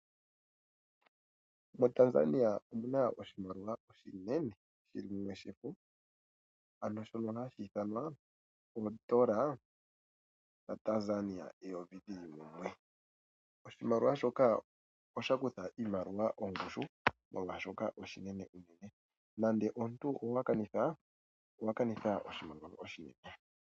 MoTanzania omuna oshimaliwa oshinene shili mumwe shefo shono hashi ithanwa oondola dheyovi lyaTanzania dhili mumwe. Oshimaliwa shoka osha kutha iimaliwa ongushu, molwaashoka oshinene uunene nande omuntu owa kanitha, owa kanitha oshimaliwa oshinene.